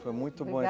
Foi muito bom